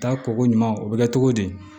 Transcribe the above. Taa koko ɲuman u bɛ kɛ cogo di